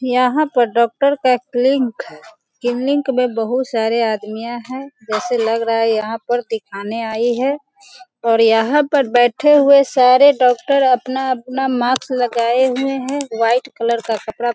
यहाँ पर डॉक्टर का एक लिंक क्लिनिक में बहुत सारे आदमियाँ हैं जैसे लग रहा है यहाँ पर दिखाने आई है और यहाँ पे बैठे हुए सारे डॉक्टर अपना-अपना मास्क लगाए हुए हैं व्हाइट कलर का कपड़ा --